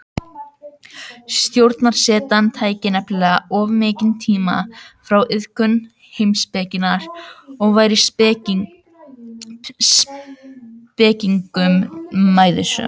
Stjórnarsetan tæki nefnilega of mikinn tíma frá iðkun heimspekinnar og væri spekingnum mæðusöm.